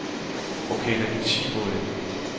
Ok, der gik ti mål ind.